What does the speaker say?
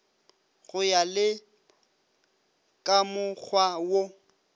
go ya le kamokgwa wo